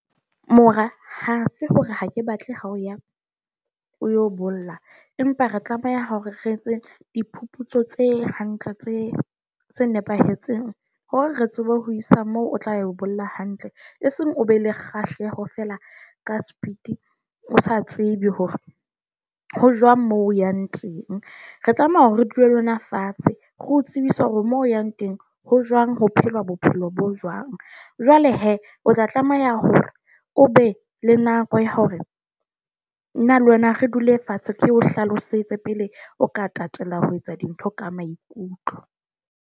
Mora, ha se hore ha ke batle ha o ya o yo bolla. Empa re tlameha hore re etse diphuputso tse hantle tse tse nepahetseng hore re tsebe ho isa moo o tla yo bolella hantle, e seng o be le kgahleho fela ka speed. O sa tsebe hore ho jwang moo o yang teng, re tlameha hore re dule lona fatshe re o tsebise hore moo o yang teng ho jwang ho phelwa bophelo bo jwang. Jwale he, o tla tlameha hore o be le nako ya hore nna le wena re dule fatshe, ke o hlalosetse pele o ka tatela ho etsa dintho ka maikutlo.